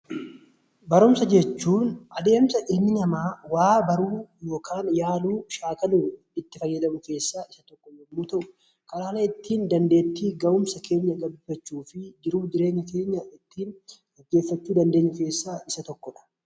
Barumsa jechuun adeemsa ilmi namaa waa baruu yookaan yaaluu shaakaluu fi itti fayyadama keessaa tokko yoo ta'u, karaalee ittiin dandeettii babal'ifachuu fi jiruu jireenya keenya kan ittiin mijeeffachuu dandeenyu keessaa isa tokkodha.